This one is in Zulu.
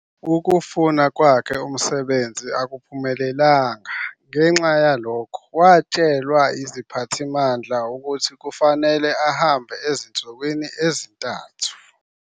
Ukufuna kwakhe umsebenzi akuphumelelanga, ngenxa yalokho, watshelwa yiziphathimandla ukuthi kufanele ahambe ezinsukwini ezintathu.